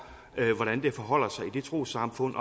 hvordan det forholder sig i det trossamfund